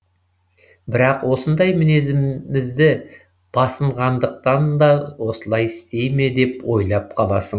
бірақ осындай мінезімізді басынғандықтан да осылай істей ме деп ойлап қаласың